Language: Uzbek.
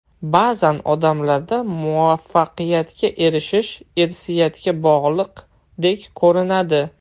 Ba’zan odamlarda muvaffaqiyatga erishish irsiyatga bog‘liqdek ko‘rinadi.